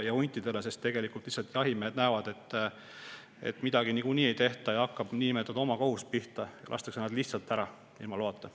Jahimehed lihtsalt näevad, et midagi niikuinii ei tehta, ja hakkab pihta omakohus: lastakse nad ilma loata maha.